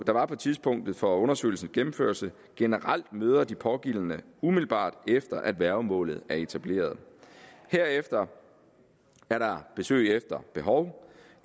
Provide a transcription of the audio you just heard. der var på tidspunktet for undersøgelsens gennemførelse generelt møder de pågældende umiddelbart efter at værgemålet er etableret herefter er der besøg efter behov